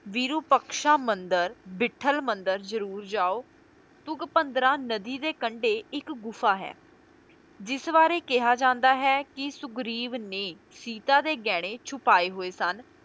ਵਿਰੂਪਕਸ਼ਾ ਮੰਦਿਰ, ਵਿੱਠਲ ਮੰਦਿਰ ਜਰੂਰ ਜਾਓ, ਤੁੰਗਭਦਰਾ ਨਦੀ ਦੇ ਕੰਢੇ ਇੱਕ ਗੁਫਾ ਹੈ, ਜਿਸ ਬਾਰੇ ਕਿਹਾ ਜਾਂਦਾ ਹੈ ਕੀ ਸੁਗਰੀਵ ਨੇ ਸੀਤਾ ਦੇ ਗਹਿਣੇ ਛੁਪਾਏ ਹੋਏ ਸਨ,